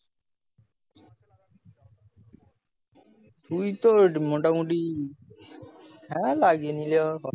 কিন্তু মোটামুটি হ্যাঁ লাগিয়ে নিলেও